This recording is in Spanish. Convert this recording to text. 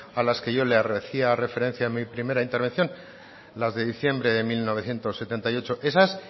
a las que yo le hacía referencia en mi primera intervención las de diciembre de mil novecientos setenta y ocho esas